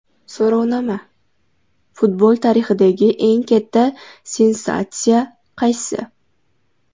So‘rovnoma: Futbol tarixidagi eng katta sensatsiya qaysi?.